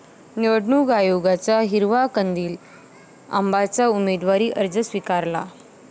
निवडणूक आयोगाचा हिरवा कंदील, आबांचा उमेदवारी अर्ज स्वीकारला